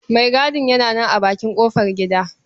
Maigadin yana nan a bakin ƙofargida.